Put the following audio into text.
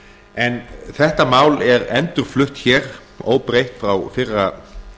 en þetta mál er endurflutt hér óbreytt frá fyrra